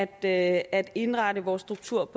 at at indrette vores struktur